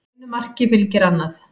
Einu marki fylgir annað